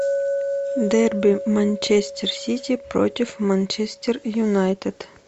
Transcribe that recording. дерби манчестер сити против манчестер юнайтед